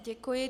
Děkuji.